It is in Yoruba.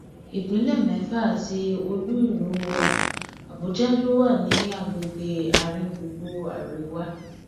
ìpínlẹ mẹfà àti olúìlú wa àbújá ló wà ní agbègbè àáríngbùngbùn àríwá